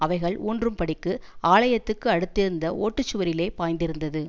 அவைகள் ஊன்றும்படிக்கு ஆலயத்துக்கு அடுத்திருந்த ஒட்டுச்சுவரிலே பாய்ந்திருந்தது